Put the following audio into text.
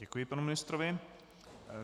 Děkuji panu ministrovi.